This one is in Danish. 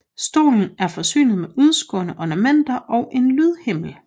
Stolen er forsynet med udskårne ornamenter og en lydhimmel